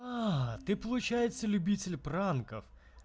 ты получается любитель пранков